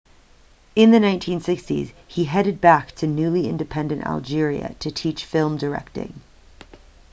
in the 1960s he headed back to newly-independent algeria to teach film directing